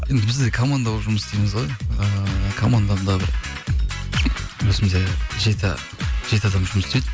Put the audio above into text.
енді біз де команда болып жұмыс істейміз ғой ыыы командам да бір өзімізде жеті адам жұмыс істейді